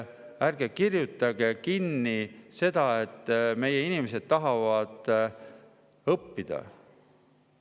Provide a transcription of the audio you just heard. Ärge kirjutage kinni seda, et meie inimesed tahavad õppida.